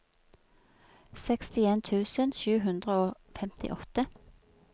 sekstien tusen sju hundre og femtiåtte